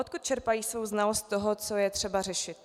Odkud čerpají svou znalost toho, co je třeba řešit?